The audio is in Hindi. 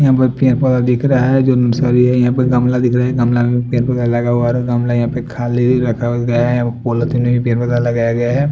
यहाँ पर पेड़-पोधा दिख रहा है जो नर्सरी है यहा पर गमला दिख रहा है गमला मे पेड़-पोधा लगा हुआ है गमला यहाँ पे खाली रखा गया है वो पॉलीथिन में भी पेड़-पोधा लगाया गया है।